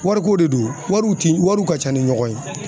Wariko de don wariw ti wariw ka ca ni ɲɔgɔn ye